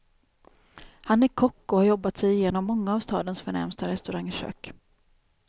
Han är kock och har jobbat sig igenom många av stadens förnämsta restaurangkök.